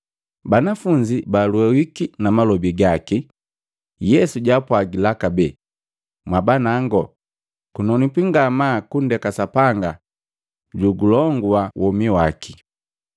Banafunzi balwehuki na malobi gaki. Yesu jaapwagila kabee, “Mwabanango, kunonwipi ngamaa kundeke Sapanga julongua womi waki!